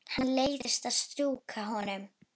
Henni leiðist að strjúka honum.